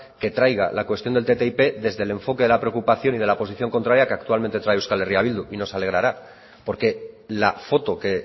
que traiga la cuestión del ttip desde el enfoque de la preocupación y de la posición contraria que actualmente trae euskal herria bildu y nos alegrará porque la foto que